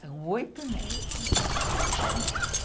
São oito netos.